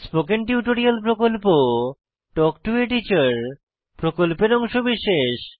spoken tutorial প্রকল্প talk to a teacher প্রকল্পের অংশবিশেষ